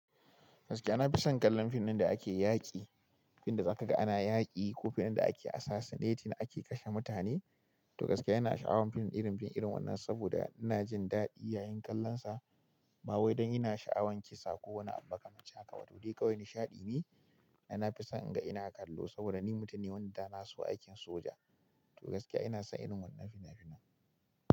Gaskiya, ina fison kallon fim da ake yaƙi, fim da za ka ga ana yaƙi ko fim da ake assassinating, ake kashe mutane. To gaskiya ina sha'awan fim irin fim irin wannan saboda ina jin daɗi yayin kallonsa. Ba wai don ina sha'awan kisa ko wani amaka manci haka ba, tode kawai nishaɗi ne. Diona fison ga ina kallo saboda ni mutane wanda na so aikin soja. To gaskiya ina son irin wannan fina-finan.